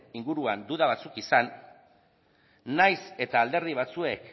inguruan duda batzuk izan nahiz eta alderdi batzuek